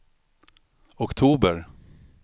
oktober